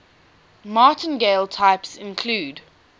martingale types include